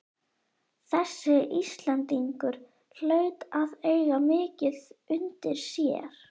Þessi Íslendingur hlaut að eiga mikið undir sér!